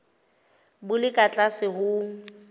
bo le ka tlase ho